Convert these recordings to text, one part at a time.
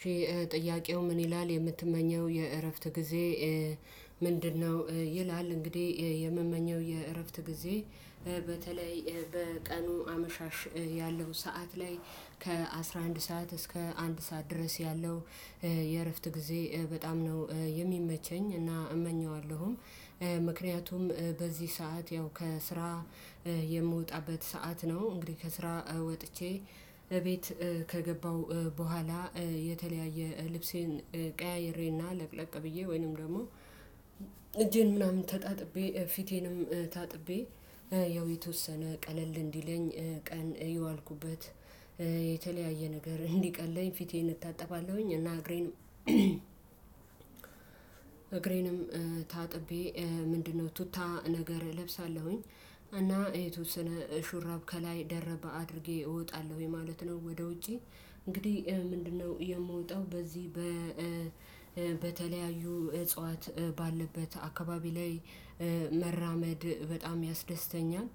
እሺ ጥያቄው ምን ይላል የምትመኘው የእረፍት ጊዜ ምንድነው? ይላል እንግዲህ የምመኘው የእረፍት ጊዜ በተለይ በቀኑ አመሻሽ ያለው ሰዓት ላይ ከአሥራ አንድ ሰዓት እስከ አንድ ሰዓት ድረስ ያለው የእረፍት ጊዜ በጣም ነው የሚመቸኝ እና እመኘዋለሁም። ምክንያቱም በዚህ ሰዓት ያው ከስራ የምወጣበት ሰዓት ነው። እንግዲህ ከስራ ወጥቼ እቤት ከገባው በኋላ የተለያየ ልብሴን ቀያይሬና ለቅለቅ ብዬ ወይንም ደግሞ እጄን ምናምን ተጣጥቤ ፊቴንም ታጥቤ ያው የተወሰነ ቀለል እንዲለኝ ቀን የዋልኩበት የተለያየ ነገር እንዲቀለኝ ፊቴን እታጠባለሁኝ። እና እግሬንም ታጥቤ ምንድነው ቱታ ነገር እለብሳለሁኝ እና የተወሰነ ሹራብ ከላይ ደረብ አድርጌ እወጣለሁ ማለት ነው። ወደ ውጪ እንግዲህ ምንድነው የምወጣው በዚህ በ በተለያዩ እጽዋት ባለበት አካባቢ ላይ መራመድ በጣም ያስደስተኛል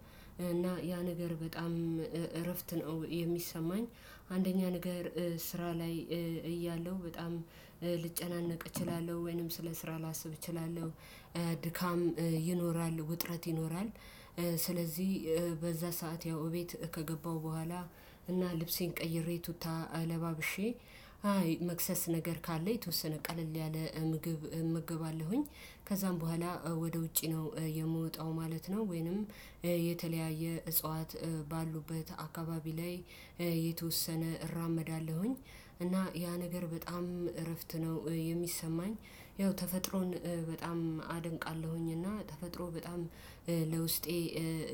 እና ያ ነገር በጣም እረፍት ነው የሚሰማኝ። አንደኛ ነገር ስራ ላይ እያለሁ በጣም ልጨናነቅ እችላለሁ ወይንም ስለ ስራ ላስብ እችላለሁ። ድካም ይኖራል ውጥረት ይኖራል። ስለዚህ በዛ ሰዓት ያው እቤት ከገባሁ በኋላ እና ልብሴን ቀይሬ ቱታ ለባብሼ አይ መክሰስ ነገር ካለ የተወሰነ ቀለል ያለ ምግብ እመገባለሁኝ። ከዛም በኋላ ወደ ውጪ ነው የምወጣው ማለት ነው። ወይንም የተለያየ እጽዋት ባሉበት አካባቢ ላይ የተወሰነ እራመዳለሁኝ እና ያ ነገር በጣም እረፍት ነው የሚሰማኝ። ያው ተፈጥሮን በጣም አደንቃለሁኝ እና ተፈጥሮ በጣም ለውስጤ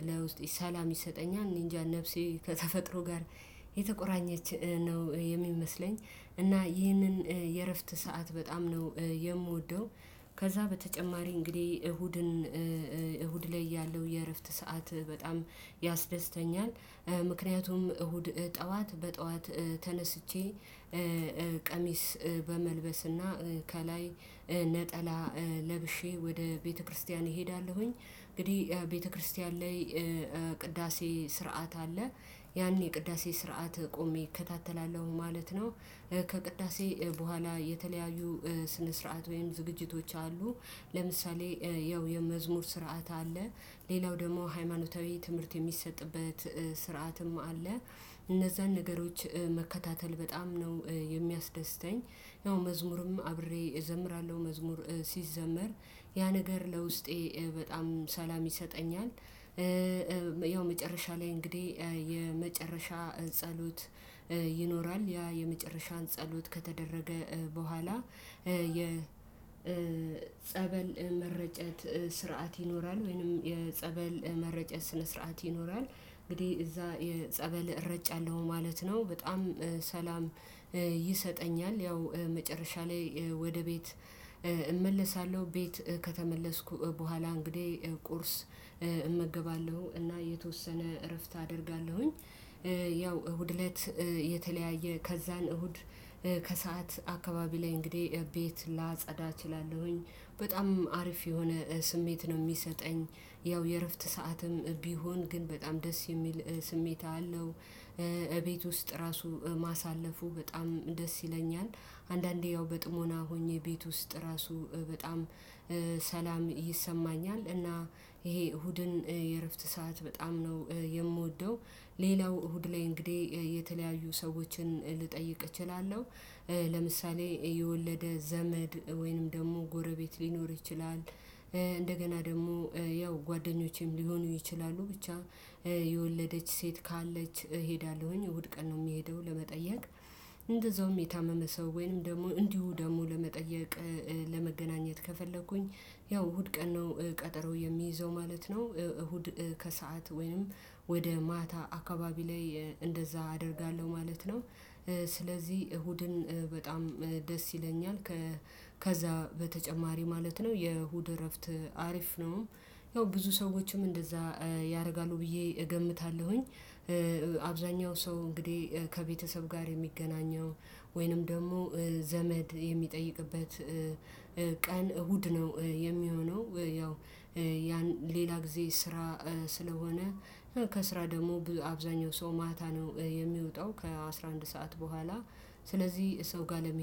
ለውስጤ ሰላም ይሰጠኛል። እኔ እንጃ ነፍሴ ከተፈጥሮ ጋር የተቆራኘች ነው የሚመስለኝ። እና ይህንን የእረፍት ሰዓት በጣም ነው የምወደው። ከዛ በተጨማሪ እንግዲህ እሁድን እሁድ ላይ ያለው የእረፍት ሰዓት በጣም ያስደስተኛል። ምክንያቱም እሁድ ጠዋት በጠዋት ተነስቼ ቀሚስ በመልበስና ከላይ ነጠላ ለብሼ ወደ ቤተክርስቲያን እሄዳለሁኝ። እንግዲህ ቤተክርስቲያን ላይ ቅዳሴ ስርዓት አለ ያኔ ቅዳሴ ስርዓት ቆሜ እከታተላለሁ ማለት ነው። ከቅዳሴ በኋላ የተለያዩ ስነ ስርዓት ወይም ዝግጅቶች አሉ። ለምሳሌ ያው የመዝሙር ስርዓት አለ። ሌላው ደግሞ ሃይማኖታዊ ትምህርት የሚሰጥበት ስርዓትም አለ። እነዛን ነገሮች መከታተል በጣም ነው የሚያስደስተኝ። ያው መዝሙርም አብሬ እዘምራለሁ መዝሙር ሲዘመር ያ ነገር ለውስጤ በጣም ሰላም ይሰጠኛል። ያው መጨረሻ ላይ እንግዲህ የመጨረሻ ጸሎት ይኖራል ያ የመጨረሻን ጸሎት ከተደረገ የጸበል መረጨት ስርዓት ይኖራል ወይንም የጸበል መረጨት ስነ ስርዓት ይኖራል እንግዲህ እዛ ጸበል እረጫለሁ ማለት ነው። በጣም ሰላም ይሰጠኛል። ያው መጨረሻ ላይ ወደ ቤት እመለሳለሁ። ቤት ከተመለስኩ በኋላ እንግዲህ ቁርስ እመገባለሁ እና የተወሰነ እረፍት አደርጋለሁኝ። ያው እሁድ እለት የተለያየ ከዛን እሁድ ከሰአት አካባቢ ላይ እንግዲህ ቤት ላጸዳ እችላለሁኝ በጣም አሪፍ የሆነ ስሜት ነው የሚሰጠኝ። ያው የእረፍት ሰዓትም ቢሆን ግን በጣም ደስ የሚል ስሜት አለው። እቤት ውስጥ ራሱ ማሳለፉ በጣም ደስ ይለኛል። አንዳንዴ ያው በጥሞና ሆኜ ቤት ውስጥ ራሱ በጣም ሰላም ይሰማኛል። እና ይሄ እሁድን የእረፍት ሰዓት በጣም ነው የምወደው። ሌላው እሁድ ላይ እንግዲህ የተለያዩ ሰዎችን ልጠይቅ እችላለሁ። ለምሳሌ የወለደ ዘመድ ወይንም ደግሞ ጎረቤት ሊኖር ይችላል። እንደገና ደግሞ ያው ጓደኞቼም ሊሆኑ ይችላሉ ብቻ የወለደች ሴት ካለች እሄዳለሁኝ እሁድ ቀን ነው እምሄደው ለመጠየቅ። እንደዛውም የታመመ ሰው ወይንም ደግሞ እንዲሁ ደግሞ ለመጠየቅ ለመገናኘት ከፈለኩኝ ያው እሁድ ቀን ነው ቀጠሮ የምይዘው ማለት ነው። እሁድ ከሰአት ወይንም ወደ ማታ አካባቢ ላይ እንደዛ አደርጋለሁ ማለት ነው። ስለዚህ እሁድን በጣም ደስ ይለኛል። ከዛ በተጨማሪ ማለት ነው የእሁድ እረፍት አሪፍ ነው። ያው ብዙ ሰዎችም እንደዛ ያደርጋሉ ብዬ እገምታለሁኝ። አብዛኛው ሰው እንግዲህ ከቤተሰብ ጋር የሚገናኘው ወይንም ደግሞ ዘመድ የሚጠይቅበት ቀን እሁድ ነው የሚሆነው። ያው ሌላ ጊዜ ስራ ስለሆነ ከስራ ደግሞ አብዛኛው ሰው ማታ ነው የሚወጣው ከአሥራ አንድ ሰዓት በኋላ ስለዚህ ሰው ጋር ለመሄድ